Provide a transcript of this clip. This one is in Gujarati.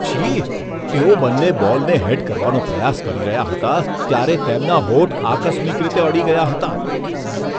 છી! તેઓ બંને બોલને હેડ કરવાનો પ્રયાસ કરી રહ્યા હતા ત્યારે તેમના હોઠ આકસ્મિક રીતે અડી ગયા હતા.